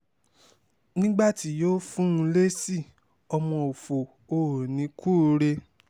nigbati yoo fun lesi ọmọ ofo ooni kuure